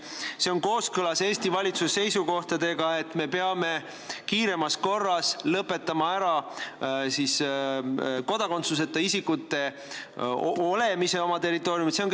Kas ka see on kooskõlas Eesti valitsuse seisukohtadega, et me peame kiiremas korras lõpetama kodakondsuseta isikute olemise oma territooriumil?